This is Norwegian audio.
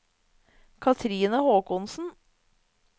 Katrine Håkonsen